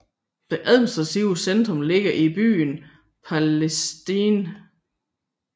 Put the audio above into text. Det administrative centrum ligger i byen Palestine